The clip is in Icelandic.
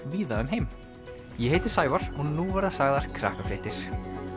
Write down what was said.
víða um heim ég heiti Sævar og nú verða sagðar Krakkafréttir